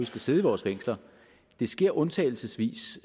skal sidde i vores fængsler det sker undtagelsesvis